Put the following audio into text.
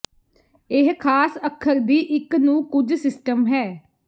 ਇਹ ਖਾਸ ਅੱਖਰ ਦੀ ਇੱਕ ਨੂੰ ਕੁਝ ਸਿਸਟਮ ਹੈ